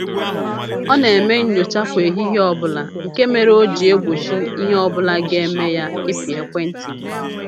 Ọ na-eme nnyocha kwa ehihie ọbụla nke mere o ji egbochi ihe ọbụla ga-eme ya ịpị ekwentị ya